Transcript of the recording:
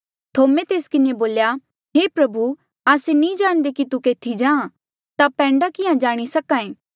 थोमे तेस किन्हें बोल्या हे प्रभु आस्से नी जाणदे कि तू केथी जाहाँ ता पैंडा किहाँ जाणी सक्हा ऐें